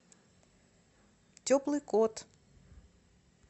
теплый кот